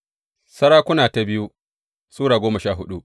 biyu Sarakuna Sura goma sha hudu